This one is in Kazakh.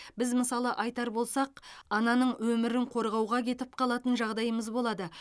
біз мысалы айтар болсақ ананың өмірін қорғауға кетіп қалатын жағдайымыз болады